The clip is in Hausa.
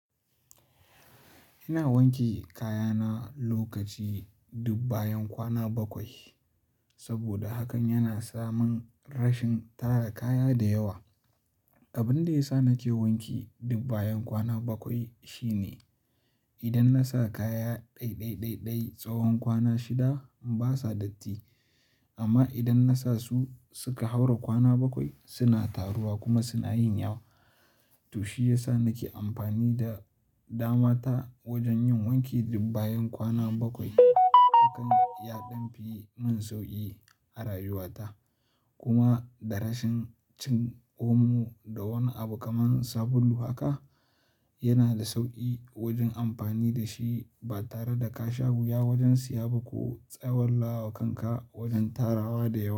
Ina wanke kaya na lokaci duk bayan kwana bakwai saboda hakan yana samin rashin tara kaya da yawa. Abin da ya sa nake wanke dub bayan kwana bakwai shine idan na sa kaya ɗai-ɗai tsawon kwana shida ba sa datti amma idan na sa su suka haura kwana bakwai suna taruwa kuma suna yin yawa. To shi ya sa nake amfani da dama ta wajen yin wanki duk bayan kwana bakwai. Hakan ya ɗan fi mun sauƙi a rayuwata kuma da rashin cin omo da wani abu kaman sabulu haka yana da sauƙi wajen amfani da shi ba tare da ka sha wuya wajen siya ba ko tsawallawakanka wajen tarawa da yawa.